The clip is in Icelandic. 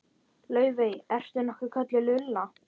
Laufey- ertu nokkuð kölluð Lulla?